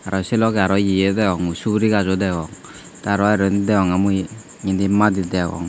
se loge aro ye o degong suguri gach o degong te aro indi degonge mui indi madi degong.